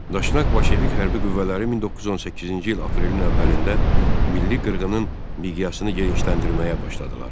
Daşnak bolşevik hərbi qüvvələri 1918-ci il aprelin əvvəlində milli qırğının miqyasını genişləndirməyə başladılar.